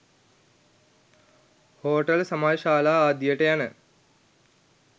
hotel සමාජශාලා ආදියට යන